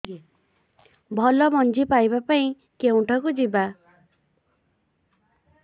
ଭଲ ମଞ୍ଜି ପାଇବା ପାଇଁ କେଉଁଠାକୁ ଯିବା